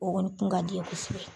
O kɔni tun ka di n ye kosɛbɛ.